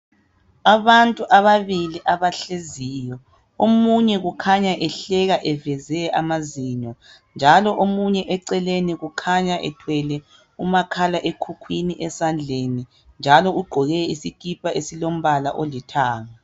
Abantu ababili abahleziyo omunye kukhanya ehleka eveze amazinyo njalo omunye eceleni ukhanya ethwele umakhalekhukhwini esandleni njalo ugqoke isikipa esilombala olithanga.